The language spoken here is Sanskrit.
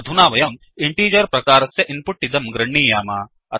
अधुना वयं इन्टिगर प्रकारस्य इन्पुट् इदं गृह्णीयाम